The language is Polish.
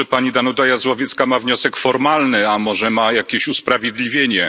Może pani Danuta Jazłowiecka ma wniosek formalny, a może ma jakieś usprawiedliwienie.